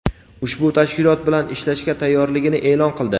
ushbu tashkilot bilan ishlashga tayyorligini e’lon qildi.